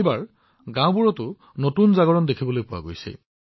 এইবাৰ গাওঁবোৰত নতুন সজাগতাও দেখা গৈছে